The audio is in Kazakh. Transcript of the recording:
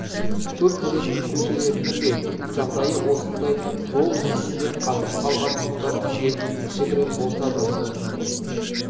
көп жүретін көшелердің де жағдайы осындай жол үстінде қатып қалған мұздар кейде кішігірім болса да